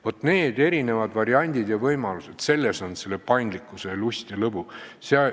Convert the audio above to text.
Vaat need erinevad variandid ja võimalused – selles on paindlikkuse lust ja lõbu.